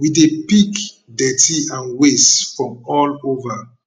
we dey pick dirty and wastes from all over